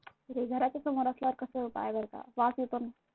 घराच्या समोर असल्यावर काय करता वास येतो ना.